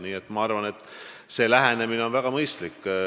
Nii et ma arvan, et selline lähenemine on väga mõistlik.